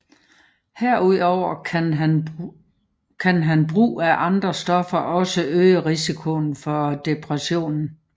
Herudover kan brug af andre stoffer også øge risikoen for depression